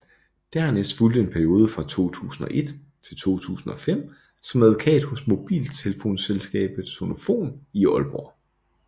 Dernæst fulgte en periode fra 2001 til 2005 som advokat hos mobiltelefonselskabet Sonofon i Aalborg